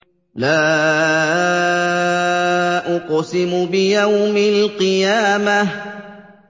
لَا أُقْسِمُ بِيَوْمِ الْقِيَامَةِ